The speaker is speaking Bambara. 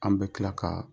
An bɛ tila ka